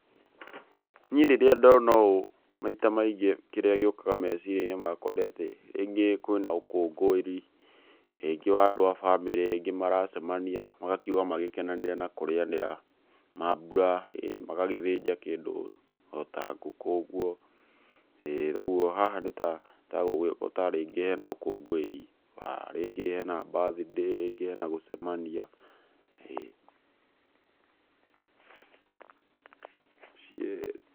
Niĩ rĩrĩa ndona ũũ maita maingĩ kĩrĩa gĩukaga meciria-inĩ makwa nĩ atĩ rĩngĩ kwĩ na ũkũngũĩri, rĩngĩ wa andũ a bamĩrĩ rĩngĩ nĩ maracemania magakiuga magĩkenanĩre na kũrĩanĩra maambura ĩĩ. Magagĩthĩnja kĩndũ o ta ngũkũ ũgũo, ĩĩ ũgũo haha nĩ ta rĩngĩ hena ũkũngũĩri, wa rĩngĩ hena birthday, rĩngĩ hena gũcemania ĩĩ.